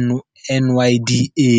N NYDA.